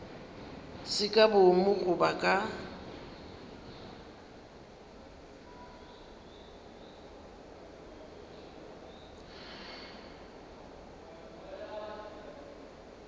se ka boomo goba ka